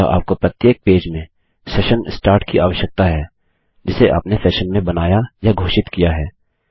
अतः आपको प्रत्येक पेज में सेशन स्टार्ट की आवश्यकता है जिसे आपने सेशन में बनाया या घोषित किया है